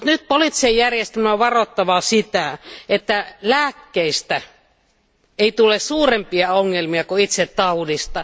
Poliittisen järjestelmän on varottava nyt sitä, ettei lääkkeistä tule suurempia ongelmia kuin itse taudista.